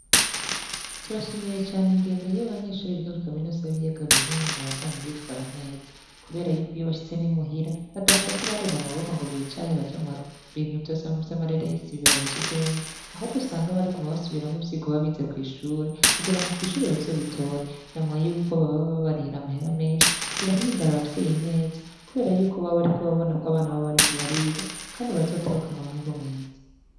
Turashimiye cane ingendo y'abanyeshuri biga kuri kaminuza y'ibiyaga binini babandanye bitwara neza kuberako n'iyo bashitse muhira badashika barera amaboko ngo baje mu bintu vy'amareresi ngo bibbuze ubwenge ahubwo usanga bariko barasubiramwo ivyo baba bize kw'ishure kugirango kw'ishure bazobitore na mwarirya yuko baba babarihira amahera menshi birahimbara abavyeyi babo kuko baba babona abana babo bariko bariga neza kubera bazosohokane umwimbu mwiza.